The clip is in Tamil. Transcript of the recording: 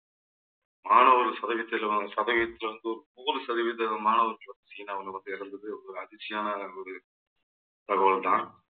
மாணவர் சதவீதத்திலும் சதவீதத்திலிருந்து சதவீத மாணவர்கள் சீனாவுல வந்து இறந்தது ஒரு அதிர்ச்சியான ஒரு தகவல்தான்